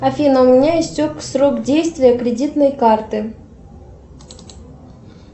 афина у меня истек срок действия кредитной карты